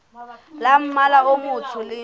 tsa mmala o motsho le